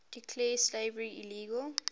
declared slavery illegal